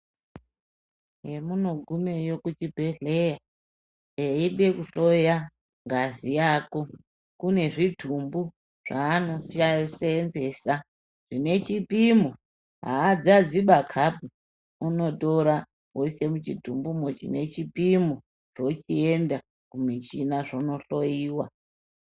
Zvemunogumeyo kuzvibhehleya veida kuhloya ngazi yako kune zvidhumbu zvavonoseenzesa chipimo haadzadziba capu unotora oisa muchidhumbumo chinechipimo zvovhiends kumivhina zvondo hloiwa